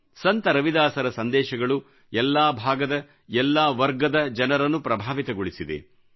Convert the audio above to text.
ಸಂತ ರವಿದಾಸರ ಸಂದೇಶಗಳು ಎಲ್ಲಾ ಭಾಗದ ಎಲ್ಲಾ ವರ್ಗದ ಜನರನ್ನು ಪ್ರಭಾವಿತಗೊಳಿಸಿದೆ